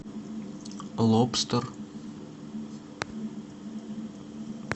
лобстер